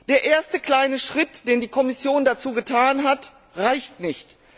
Der erste kleine Schritt, den die Kommission dazu getan hat, reicht nicht.